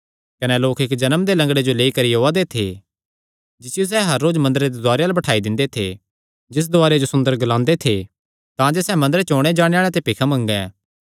कने लोक इक्क जन्म दे लंगड़े जो लेई करी ओआ दे थे जिसियो सैह़ हर रोज मंदरे दे दुआरे अल्ल बठाई दिंदे थे जिस दुआरे जो सुंदर ग्लांदे थे तांजे सैह़ मंदरे च ओणे जाणे आल़ेआं ते भिख मंगे